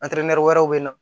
wɛrɛ bɛ na